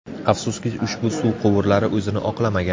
Afsuski ushbu suv quvurlari o‘zini oqlamagan.